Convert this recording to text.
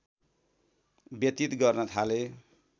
व्यतीत गर्न थाले